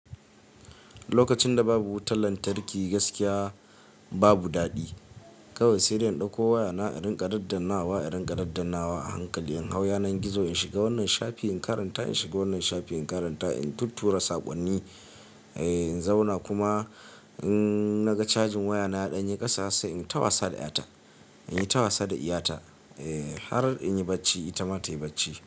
Lokacin da babu wutan lantarki gaskiya babu daɗi. Kawai sai dai in ɗauko waya na, in rinƙa daddanawa, in rinƙa daddanawa a hankali. In hau yanar gizo in shiga wannan shafi in karanta, in shiga wannan shafi in karanta. In tuntura saƙonni, eh in zauna kuma in naga cajin waya na ya ɗanye ƙasa sai in yi ta wasa da ƴata, in yi ta wasa da ɗiya ta har in yi bacci, ita ma ta yi bacci.